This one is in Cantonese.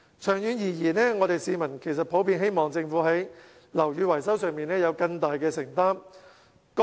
長遠而言，市民其實普遍希望政府在樓宇維修上有更大承擔。